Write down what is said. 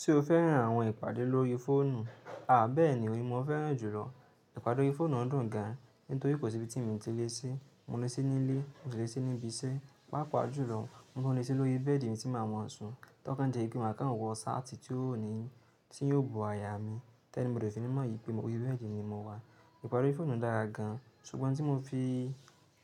Tí o fẹ́ràn àwọn ìpàdé lórí fóònù, àá bẹ́ẹ̀ni òun ni mo fẹ́ràn jùlọ. Ìpàdé lórí fóònù dùn gan, nítorí kò sí ibi tí mo ti lè sé. Mo lè sé ní ilé, mo lè sé ní ibi iṣẹ́, pàápàá jùlọ mo lè tún lè sé lórí bẹ́ẹ̀dì mi tí màá ma sùn. Tọ́ kàn jé pe máa kàn wọ ṣáàtì tí yóò ní, tí yóò bo àyà mi. Ti anybody osi ni mọ̀ wipé mo lórí bẹ́ẹ̀dì ni mo wà. Ìpàdé lórí fóònù dára gan, ṣùgbọ́n tí mo fi